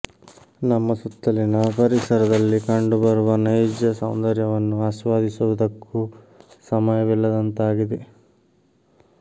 ನಮ್ಮ ಸುತ್ತಲಿನ ಪರಿಸರದಲ್ಲಿ ಕಂಡು ಬರುವ ನೈಜ ಸೌಂದರ್ಯವನ್ನು ಆಸ್ವಾದಿಸುವುದಕ್ಕೂ ಸಮಯವಿಲ್ಲದಂತಾಗಿದೆ